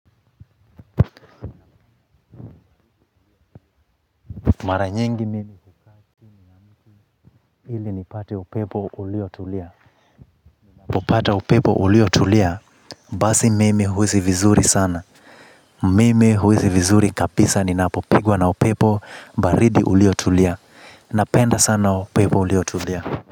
Mara nyingi mimi hukaa chini ya mtiili nipate upepo uliotulia ninapopata upepo uliotulia. Basi mimi huhisi vizuri sana. Mimi huhisi vizuri kabisa ninapopigwa na upepo baridi uliotulia. Napenda sana upepo uliotulia.